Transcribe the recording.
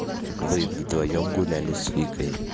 вы вдвоём гуляли с викой